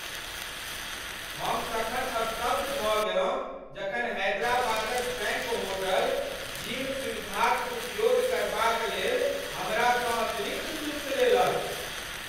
हम तखन स्तब्ध भऽ गेलहुँ जखन हैदराबादक स्वैंक होटल जिम सुविधाक उपयोग करबाक लेल हमरासँ अतिरिक्त शुल्क लेलक।